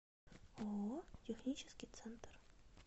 ооо технический центр